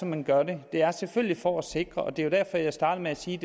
man gør det det er selvfølgelig for at sikre og det er derfor jeg startede med at sige